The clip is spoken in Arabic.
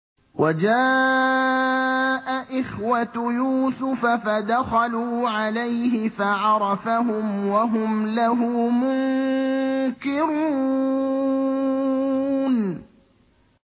وَجَاءَ إِخْوَةُ يُوسُفَ فَدَخَلُوا عَلَيْهِ فَعَرَفَهُمْ وَهُمْ لَهُ مُنكِرُونَ